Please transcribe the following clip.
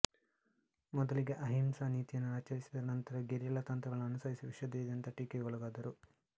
ಮೊದಲಿಗೆ ಅಹಿಂಸಾ ನೀತಿಯನ್ನು ಆಚರಿಸಿದರೂ ನಂತರ ಗೆರಿಲ್ಲಾ ತಂತ್ರಗಳನ್ನು ಅನುಸರಿಸಿ ವಿಶ್ವಾದ್ಯಂತ ಟೀಕೆಗೊಳಗಾದರು